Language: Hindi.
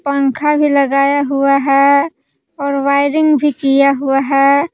पंखा भी लगाया हुआ है और वायरिंग भी किया हुआ है।